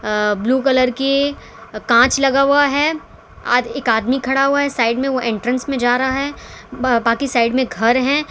अ blue colour के कांच लगा हुआ है आद एक आदमी खड़ा हुआ है साइड में वो एंट्रेंस में जा रहा है ब बाकी साइड में घर है।